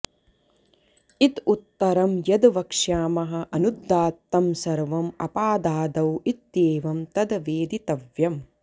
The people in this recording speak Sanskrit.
इत उत्तरं यद् वक्ष्यामः अनुदात्तं सर्वम् अपादादौ इत्येवं तद् वेदितव्यम्